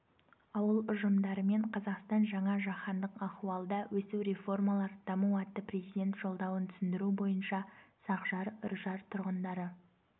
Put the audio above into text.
ауыл ұжымдарымен қазақстан жаңа жаһандық ахуалда өсу реформалар даму атты президент жолдауын түсіндіру бойынша сақжар үржар тұрғындары